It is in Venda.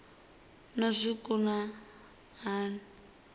na zwikimu zwa zwiliwa na